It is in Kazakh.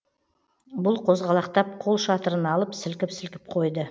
бұл қозғалақтап қол шатырын алып сілкіп сілкіп қойды